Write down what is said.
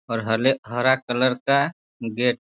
और हले हरा कलर का गेट --